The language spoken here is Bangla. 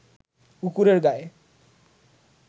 কুকুরের গায়ে